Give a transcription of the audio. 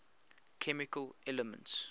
chemical elements